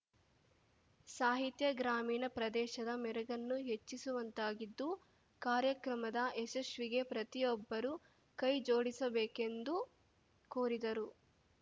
ಸಾಹಿತ್ಯ ಗ್ರಾಮೀಣ ಪ್ರದೇಶದ ಮೆರುಗನ್ನು ಹೆಚ್ಚಿಸುವಂತಾಗಿದ್ದು ಕಾರ್ಯಕ್ರಮದ ಯಶಸ್ವಿಗೆ ಪ್ರತಿಯೊಬ್ಬರೂ ಕೈ ಜೋಡಿಸಬೇಕೆಂದು ಕೋರಿದರು